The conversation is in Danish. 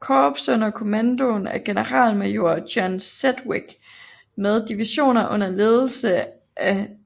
Korps under kommando af generalmajor John Sedgwick med divisioner under ledelse af